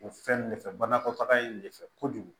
O fɛn de fɛ banakɔtaga in de fɛ kojugu